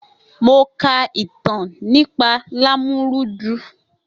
Mo ka ìtàn nípa Lámúrúdu.